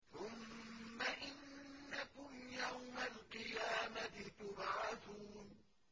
ثُمَّ إِنَّكُمْ يَوْمَ الْقِيَامَةِ تُبْعَثُونَ